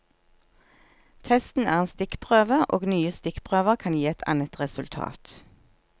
Testen er en stikkprøve, og nye stikkprøver kan gi et annet resultat.